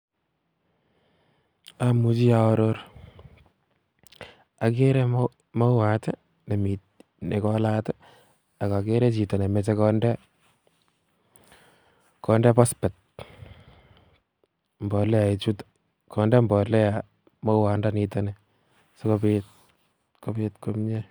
Imuchi aror, akere mauat nekolat ak okere chito nemoche konde pospet, konde mbolea mauandaniton nii sikobiit kobiit komie.